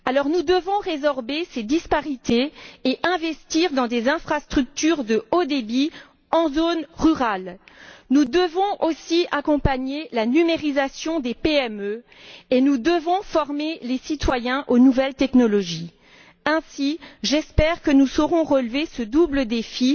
Nous devons résorber ces disparités et investir dans des infrastructures de haut débit en zone rurale, accompagner la numérisation des PME et former les citoyens aux nouvelles technologies. Ainsi, j'espère que nous saurons relever ce double défi